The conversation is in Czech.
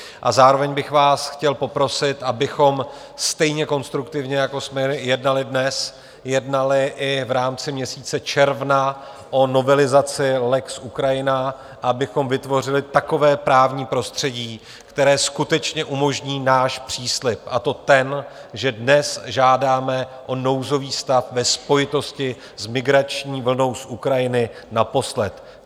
A zároveň bych vás chtěl poprosit, abychom stejně konstruktivně, jako jsme jednali dnes, jednali i v rámci měsíce června o novelizaci lex Ukrajina, abychom vytvořili takové právní prostředí, které skutečně umožní náš příslib, a to ten, že dnes žádáme o nouzový stav ve spojitosti s migrační vlnou z Ukrajiny naposled.